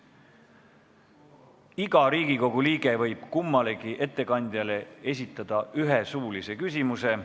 Iga Riigikogu liige võib kummalegi ettekandjale esitada ühe suulise küsimuse.